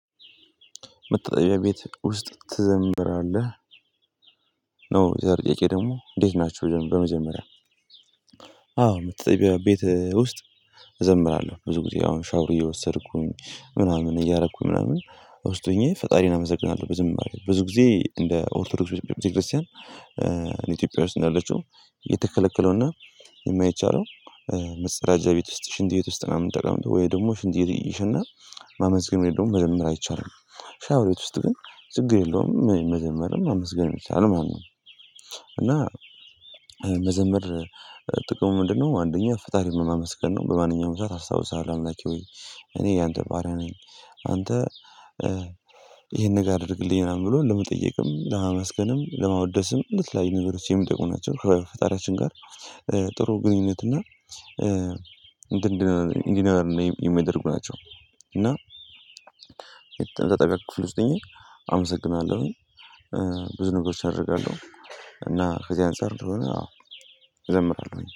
መታጠቢያ ቤት ውስጥ ትዘምራለህ? ነው የዛሬው ጥያቄ ደግሞ እንዴት ናቸው? በመጀመሪያ አዎ መታጠቢያ ቤት ውስጥ እዘምራለሁ ብዙ ጊዜ አሁን ሻውር እየወሰድኩኝ ምናምን እያደረኩኝ ምናምን ውስጥ ሆኜ ፈጣሪን አመሰግናለሁ። ብዙም ጊዜ ብዙ ጊዜ እንደ ኦርቶዶክስ ቤተክርስቲያን ኢትዮጵያ ውስጥ እንዳለችው የተከለከለውና የማይቻለው። መጸዳጃ ቤት ውስጥ ሽንት ቤት ውስጥ ምናምን ጠቀምጦ ወይ ደግሞ ሽንት ቤት እየሸና ማመስገን ወይም ደግሞ መዘመር አይቻልም። ሻወር ቤት ውስጥ ግን ችግር የለውም መዘመርም ማመስገንም ይቻላል ማለት ነው። እና መዘመር ጥቅሙ ምንድነው? አንደኛ ፈጣሪ በማመስገን ነው በማንኛውም ሰዓት አስታውስሀለው አምላኬ ሆይ እኔ ያንተ ባሪያ ነኝ። አንተ ይሄን ነገር አድርግልኝ ምናምን ብሎ ለመጠየቅም ለማመስገንም ለማወደስም ለተለያዩ ነገሮች የሚጠቁም ናቸው። ከፈጣሪያችን ጋር ጥሩ ግንኙነት እና እንትን እንዲኖረን የሚደርጉ ናቸው። እና ተጠቃቅ ክፍል ውስጥ እኔ አመሰግናለሁኝ። ብዙ ነገሮች አደርጋለሁ። እና ከዚህ አንፃር ከሆነ አዎ እዘምራለሁኝ